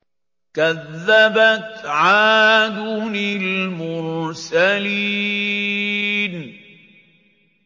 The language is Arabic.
كَذَّبَتْ عَادٌ الْمُرْسَلِينَ